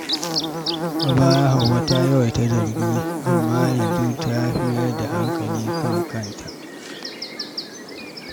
A baya, Hauwa ta yawaita zargi, amma yanzu ta fi mayar da hankali kan kanta.